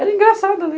Era engraçado ali.